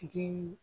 Tigi